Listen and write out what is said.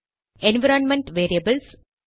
environment variables